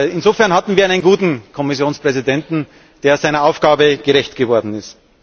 Insofern hatten wir einen guten Kommissionspräsidenten, der seiner Aufgabe gerecht geworden ist.